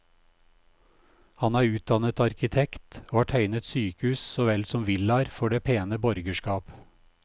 Han er utdannet arkitekt og har tegnet sykehus så vel som villaer for det pene borgerskap.